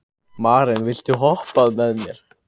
Maren, viltu hoppa með mér?